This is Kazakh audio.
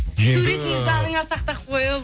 суретін жаныңа сақтап қойып